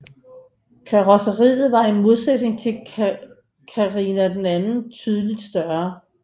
Karrosseriet var i modsætning til Carina II tydeligt større